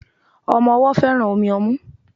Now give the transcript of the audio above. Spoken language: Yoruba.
Omo owó féràn Omi omú